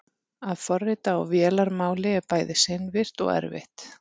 að forrita á vélarmáli er bæði seinvirkt og erfitt